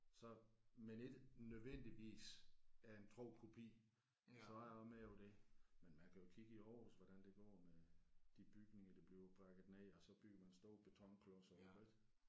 Så men ikke nødvendigvis er en tro kopi så er jeg også med på det men man kan jo kigge i Aarhus hvordan det går med de bygninger der bliver brækket ned og så bygger man store betonklodser på det ik